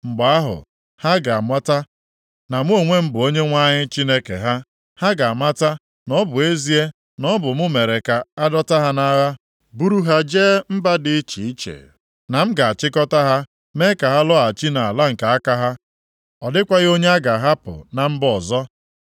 Mgbe ahụ, ha ga-amata na mụ onwe m bụ Onyenwe anyị Chineke ha. Ha ga-amata na ọ bụ ezie na ọ bụ m mere ka a dọta ha nʼagha buru ha jee mba dị iche iche, na m ga-achịkọta ha mee ka ha lọghachi nʼala nke aka ha. Ọ dịkwaghị onye a ga-ahapụ na mba ọzọ.